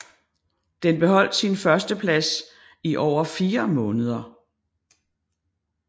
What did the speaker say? Den beholdt sin førsteplads i over fire måneder